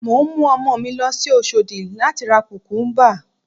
Mò ń mú ọmọ mi lọ sí Oṣòdì láti ra Kùkúbà